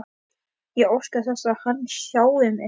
Ég óska þess að hann sjái mig.